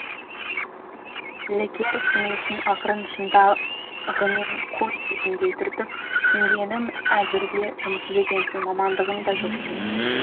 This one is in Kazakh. лекер сіңілісін ақырын шынтағымен қой дегендей түртіп түсінгенім әзірге жұмыссыз екенсің мамандығың да жоқ екен